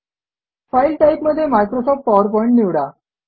file type मध्ये Microsoft PowerPoint निवडा